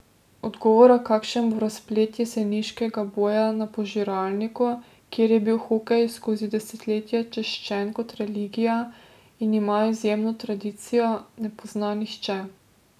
Odgovora, kakšen bo razplet jeseniškega boja na požiralniku, kjer je bil hokej skozi desetletja čaščen kot religija in ima izjemno tradicijo, ne pozna nihče.